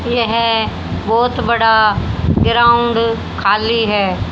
यह बहोत बड़ा ग्राउंड खाली है।